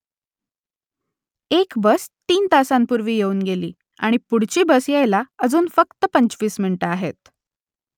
एक बस तीन तासांपूर्वी येऊन गेली आणि पुढची बस यायला अजून फक्त पंचवीस मिनिटं आहेत